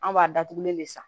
An b'a datugulen de san